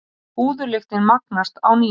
Púðurlyktin magnast á ný.